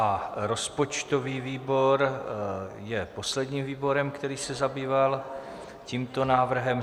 A rozpočtový výbor je posledním výborem, který se zabýval tímto návrhem.